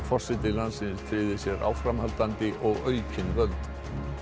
forseti landsins tryggði sér áframhaldandi og aukin völd